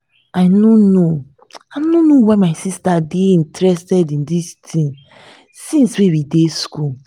i no know i no know why my sister dey interested in dis thing since we dey school